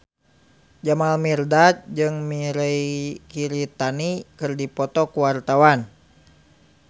Jamal Mirdad jeung Mirei Kiritani keur dipoto ku wartawan